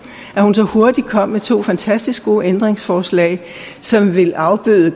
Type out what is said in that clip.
at hun så hurtigt kom med to fantastisk gode ændringsforslag som vil afbøde